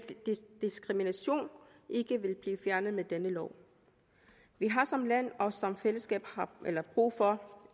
diskrimination ikke blive fjernet med denne lov vi har som land og som fællesskab brug for